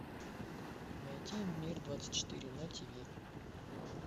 найти мир двадцать четыре на тв